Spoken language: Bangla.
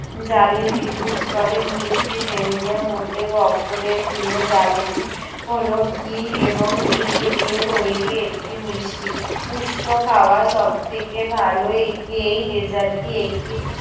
জালেবি। পুষ্করের মিষ্টি প্রেমীদের মধ্যে ভক্তদের প্রিয় জালেবি হলো ঘি এবং চিনি দিয়ে তৈরী একটি মিষ্টি। উষ্ণ খাবার সব থেকে ভালো। এ~ এই dessert টি একটি